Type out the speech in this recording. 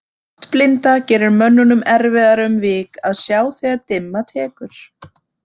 Náttblinda gerir mönnum erfiðara um vik að sjá þegar dimma tekur.